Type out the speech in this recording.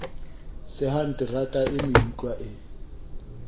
sehang terata e meutlwa e